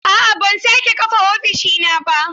A'a ban sake kafa ofishina ba